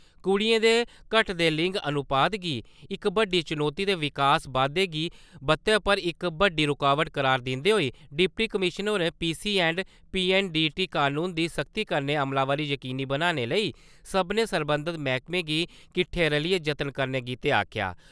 कुड़ियें दे घटदे लिंग अनुपात गी इक बड्डी चनौती ते विकास बाद्दे दी बत्तै पर इक बड्डी रूकावट करार दिंदे होई डिप्टी कमिशनर होरें पीसी एंड पीएनडीटी कानून दी सख्ती कन्नै अमलावरी जकीनी बनाने लेई सभनें सरबंधत मैह्कमें गी किट्ठे रलियै जतन करने गितै आखेआ।